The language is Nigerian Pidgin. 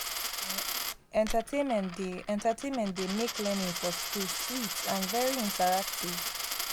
um entertainment dey entertainment dey make learning for school sweet and very interactive